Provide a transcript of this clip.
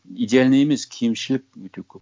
идеальный емес кемшілік өте көп